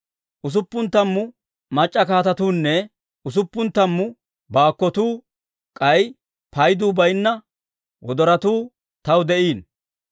Usuppun tammu mac'c'a kaatetuunne usuppun tammu baakkotuu, k'ay payduu bayinna wodorotuu taw de'iino.